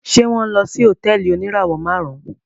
Ṣe wọn nlọ sí hotẹẹli onirawọ márún?